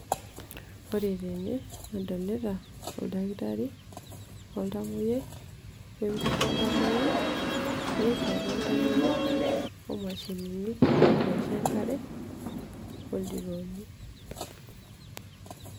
Ore ene nadolta oldakitari, oltamoyiai opisha oltamoyiai, eruat oltamoyiai omashinini naisho enkare ,oldirooni.